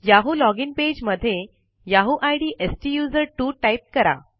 Yahoo login page मध्ये Yahoo I D स्टुझर्टवो type करा